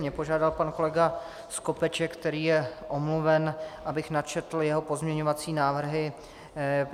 Mě požádal pan kolega Skopeček, který je omluven, abych načetl jeho pozměňovací návrhy.